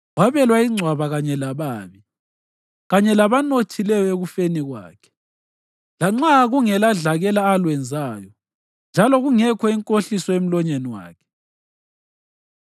Wabelwa ingcwaba kanye lababi, kanye labanothileyo ekufeni kwakhe, lanxa kungeladlakela alwenzayo njalo kungekho inkohliso emlonyeni wakhe.